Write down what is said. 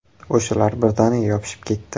O‘shalar birdaniga yopishib ketdi.